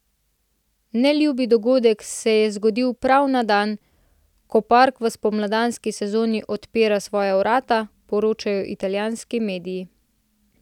Neljubi dogodek se je zgodil prav na dan, ko park v spomladanski sezoni odpira svoja vrata, poročajo italijanski mediji.